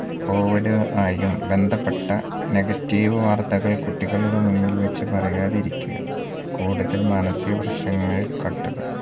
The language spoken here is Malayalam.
covid ആയും ബന്ധപ്പെട്ട negative വാർത്തകൾ കുട്ടികളുടെ മുൻപിൽ വച് പറയാതിരിക്കുക കൂടുതൽ മാനസിക പ്രശ്നങ്ങളിൽ